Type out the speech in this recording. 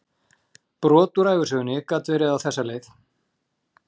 Brot úr ævisögunni gat verið á þessa leið